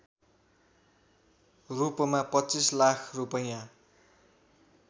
रूपमा २५ लाख रूपैयाँ